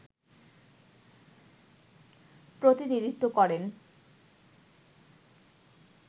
প্রতিনিধিত্ব করেন